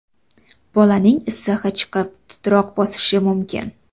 Bolaning issig‘i chiqib, titroq bosishi mumkin.